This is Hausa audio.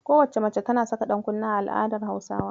Kowacce mace tana saka ɗankunne a al'adar Hausawa.